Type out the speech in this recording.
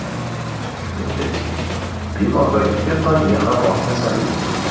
Shuningdek, bemorda gipertoniya hamroh kasalligi bo‘lgan.